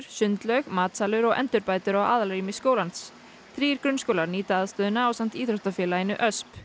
sundlaug matsalur og endurbætur á aðalrými skólans þrír grunnskólar nýta aðstöðuna ásamt íþróttafélaginu Ösp